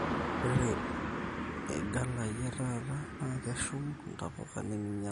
ore ighalai etaata naa keshum ntapuka neminyala